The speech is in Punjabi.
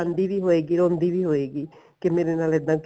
ਵੀ ਹੋਏਗੀ ਰੋਂਦੀ ਵੀ ਹਏਗੀ ਕੀ ਮੇਰੇ ਨਾਲ ਇੱਦਾਂ